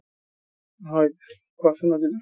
হয় কোৱাচোন